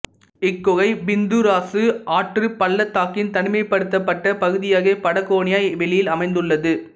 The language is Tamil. இக் குகை பிந்தூராசு ஆற்றுப் பள்ளத்தாக்கின் தனிமைப்படுத்தப்பட்ட பகுதியாகிய படகோனிய வெளியில் அமைந்துள்ளது